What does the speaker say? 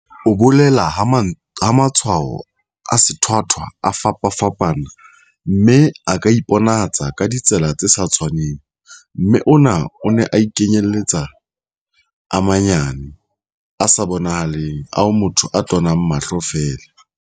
o bolela ha matshwao a sethwathwa a fapafapana, mme a ka iponahatsa ka ditsela tse sa tshwaneng, mme ona a kenyeletsa a manyane, a sa bonahaleng ao motho a tonang mahlo feela.